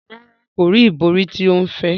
Rara, ko ri ibori ti o ń fẹ.